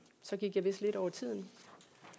så gik jeg vist lidt over tiden